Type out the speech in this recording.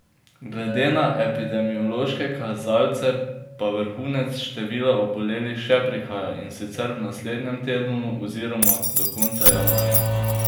Glede na epidemiološke kazalce pa vrhunec števila obolelih še prihaja, in sicer v naslednjem tednu oziroma do konca januarja.